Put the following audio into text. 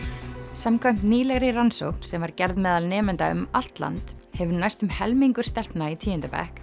samkvæmt nýlegri rannsókn sem var gerð meðal nemenda um allt land hefur næstum helmingur stelpna í tíunda bekk